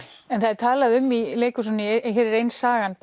en það er talað um í leikhúsinu hér er ein sagan